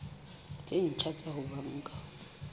tse ntjha tsa ho banka